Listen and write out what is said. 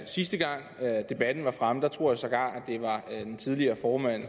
sidste gang debatten var fremme tror jeg sågar det var en tidligere formand